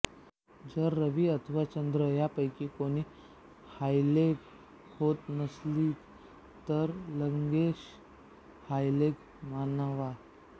जर रवी अथवा चंद्र यापैकी कोणी हायलेग होत नसतील तर लग्नेश हायलेग मानावा